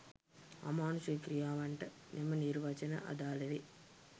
අමානුෂික ක්‍රියාවන්ට මෙම නිර්වචන අදාළ වේ